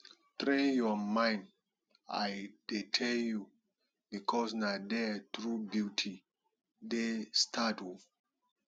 train your mind i dey tell you bicos na there true beauty dey start oo